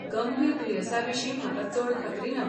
गंभीर दुयेंसांविशीं म्हाका चड खात्री ना.